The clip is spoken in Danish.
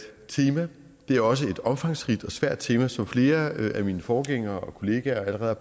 tema det er også et omfangsrigt og svært tema som flere af mine forgængere og kollegaer allerede